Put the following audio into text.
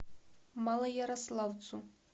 малоярославцу